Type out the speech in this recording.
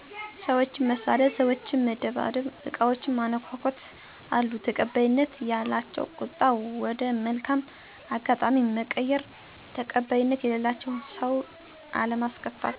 ሰዎችን መሳደብ፣ ሰዎችን በመደብደብ አቃዎችን በማነኮኮ ት፤ አሉ ተቀባይነት ያላቸው ቁጣን ወደ መልካም አጋጣሚ መቀየር ተቀባይነት የሌላቸው ሰውን አለማስከፋት።